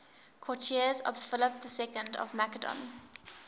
courtiers of philip ii of macedon